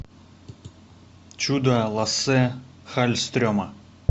чудо лассе халльстрема